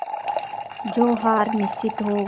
जो हार निश्चित हो